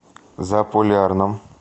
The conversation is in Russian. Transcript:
заполярном